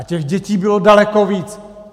A těch dětí bylo daleko víc!